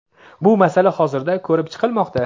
bu masala hozirda ko‘rib chiqilmoqda.